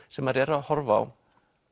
sem maður er að horfa á